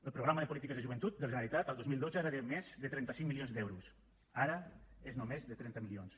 el programa de polítiques de joventut de la generalitat el dos mil dotze era de més de trenta cinc milions d’euros ara és només de trenta milions